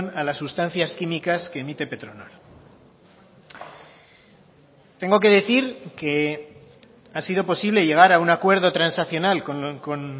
a las sustancias químicas que emite petronor tengo que decir que ha sido posible llegar a un acuerdo transaccional con